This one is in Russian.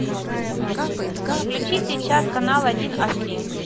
включи сейчас канал один аш ди